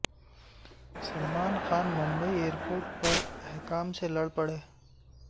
Salman Khan Mumbai airport پر حکام سے لڑ پڑے